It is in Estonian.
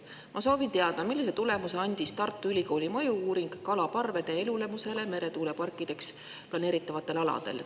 Ma soovin teada, millise tulemuse andis Tartu Ülikooli mõju-uuring kalaparvede elulemusest meretuuleparkideks planeeritavatel aladel.